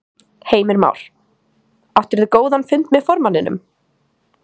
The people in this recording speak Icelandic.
Heimir Már: Áttirðu góðan fund með formanninum?